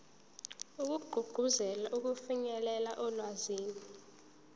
wokugqugquzela ukufinyelela olwazini